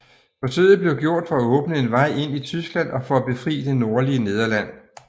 Forsøget blev gjort for at åbne en vej ind i Tyskland og for at befri det nordlige Nederland